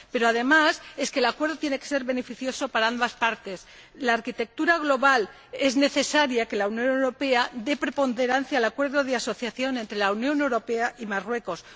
Pero, además, el acuerdo tiene que ser beneficioso para ambas partes. La arquitectura global es necesario que la Unión Europea dé preponderancia al Acuerdo de asociación entre la Unión Europea y Marruecos